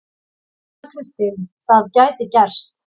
Anna Kristín: Það gæti gerst.